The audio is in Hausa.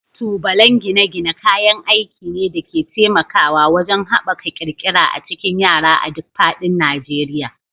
Tubalan gine-gine kayan aiki ne da ke taimakawa wajen haɓaka ƙirƙira a cikin yara a duk faɗin Najeriya.